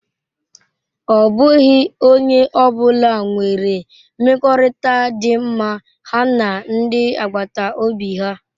Ọ bụghị onye ọ bụla nwere mmekọrịta dị mma ha na ndi agbata obi ha.